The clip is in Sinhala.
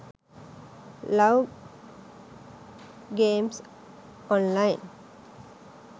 love games online